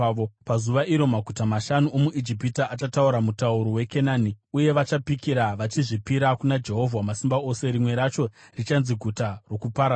Pazuva iro, maguta mashanu omuIjipiti achataura mutauro weKenani uye vachapikira vachazvipira kuna Jehovha Wamasimba Ose. Rimwe racho richanzi Guta roKuparadza.